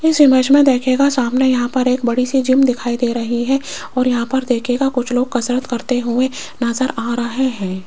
इस इमेज में देखिएगा सामने यहां पर एक बड़ी सी जिम दिखाई दे रही है और यहां पर देखिएगा कुछ लोग कसरत करते हुए नजर आ रहे हैं।